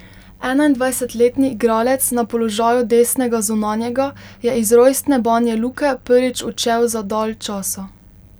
Enaindvajsetletni igralec na položaju desnega zunanjega je iz rojstne Banja Luke prvič odšel za dalj časa.